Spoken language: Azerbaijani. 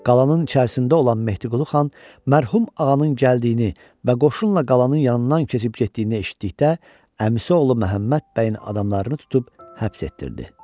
Qalanın içərisində olan Mehdiqulu xan mərhum ağanın gəldiyini və qoşunla qalanın yanından keçib getdiyini eşitdikdə əmisi oğlu Məhəmməd bəyin adamlarını tutub həbs etdirdi.